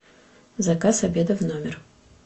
заказ обеда в номер